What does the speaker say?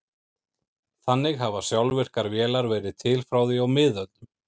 Þannig hafa sjálfvirkar vélar verið til frá því á miðöldum.